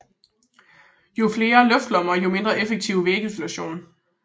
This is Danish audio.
Jo flere luftlommer jo mindre effektiv vægisolation